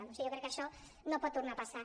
o sigui jo crec que això no pot tornar a passar